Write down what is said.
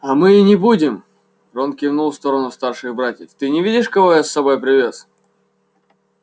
а мы и не будем рон кивнул в сторону старших братьев ты не видишь кого я с собой привёз